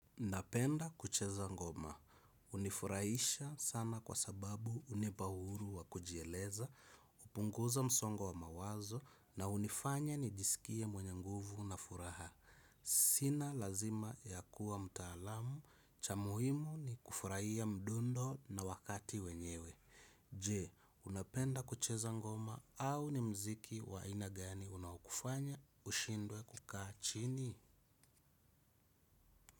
Napenda kucheza ngoma. Hunifurahisha sana kwa sababu hunipa uhuru wa kujieleza, hupunguza msongo wa mawazo na hunifanya nijisikie mwenye nguvu na furaha. Sina lazima ya kuwa mtaalamu cha muhimu ni kufurahia mdundo na wakati wenyewe. Je, unapenda kucheza ngoma au ni mziki wa aina gani unaokufanya ushindwe kukaa chini?